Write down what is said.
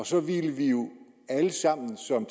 så ville vi jo alle sammen som